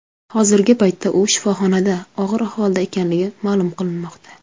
Hozirgi paytda u shifoxonada og‘ir ahvolda ekanligi ma’lum qilinmoqda.